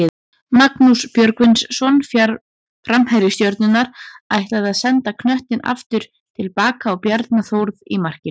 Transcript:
Magnús Björgvinsson framherji Stjörnunnar ætlaði að senda knöttinn aftur tilbaka á Bjarna Þórð í markinu.